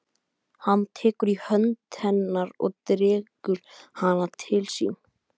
Hann tekur í hönd hennar og dregur hana til sín.